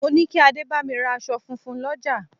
Mo ní kí adé bámi ra aṣọ funfun l'ọja